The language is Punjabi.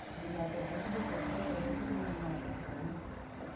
ਗਿਲਾ ਕੋਠਾ ਤੇ ਜੇ ਤੂੰ ਕੋਠੇ ਤੇ ਚੜਿਆ ਤੇ ਮੈਂ ਤੈਨੂੰ ਮਾਰਨਾ ਬੜਾ ਈ।